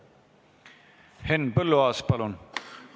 Henn Põlluaas, palun!